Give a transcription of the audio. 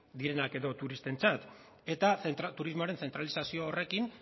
direnak edo turistentzat eta turismoaren zentralizazio horrekin